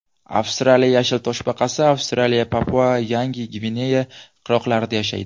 Avstraliya yashil toshbaqasi Avstraliya, PapuaYangi Gvineya qirg‘oqlarida yashaydi.